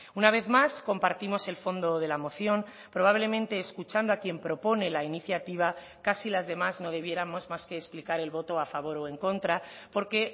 una vez más compartimos el fondo de la moción probablemente escuchando a quien propone la iniciativa casi las demás no debiéramos más que explicar el voto a favor o en contra porque